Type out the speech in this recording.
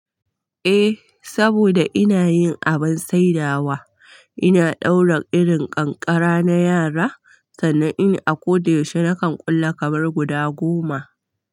Eh, saboda ina yin abin saidawa, ina ɗaura irin ƙanƙara na yara, sannan in a ko da yaushe nakan ƙulla kamar guda goma.